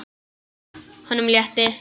Honum létti.